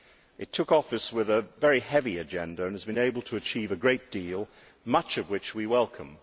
It took office with a very heavy agenda and has been able to achieve a great deal, much of which we welcome.